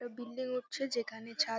একটা বিল্ডিং উঠছে যেখানে ছাত --